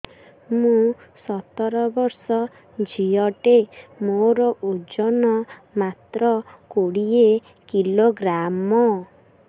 ମୁଁ ସତର ବର୍ଷ ଝିଅ ଟେ ମୋର ଓଜନ ମାତ୍ର କୋଡ଼ିଏ କିଲୋଗ୍ରାମ